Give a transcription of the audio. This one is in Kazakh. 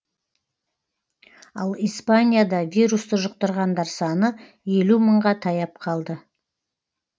ал испанияда вирусты жұқтырғандар саны елу мыңға таяп қалды